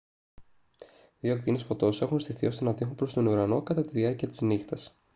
δύο ακτίνες φωτός έχουν στηθεί ώστε να δείχνουν προς τον ουρανό κατά τη διάρκεια της νύχτας